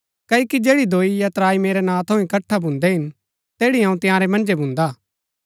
क्ओकि जैड़ी दोई या त्राई मेरै नां थऊँ इकट्ठा भून्दै हिन तैड़ी अऊँ तंयारै मन्जै भून्दा हा